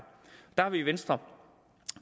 har vi i venstre